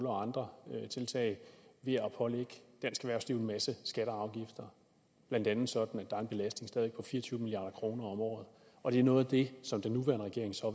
og andre tiltag ved at pålægge dansk erhvervsliv en masse skatter og afgifter blandt andet sådan at der en belastning på fire og tyve milliard kroner om året og det er noget af det som den nuværende regering så